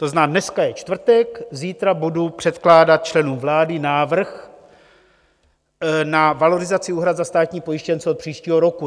To znamená, dneska je čtvrtek, zítra budu předkládat členům vlády návrh na valorizaci úhrad za státní pojištěnce od příštího roku.